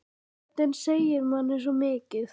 Röddin segir manni svo mikið.